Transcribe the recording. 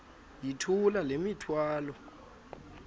yithula le mithwalo